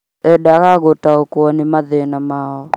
Endaga gũtaũkwo ni mathĩna mao